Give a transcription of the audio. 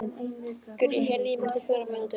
Gurrí, heyrðu í mér eftir fjórar mínútur.